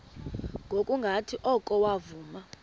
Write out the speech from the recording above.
ngokungathi oko wavuma